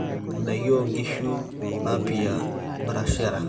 ndaiki oo nkishu-napia, brasharia